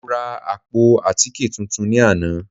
Mo ra àpò àtíkè tuntun ní àná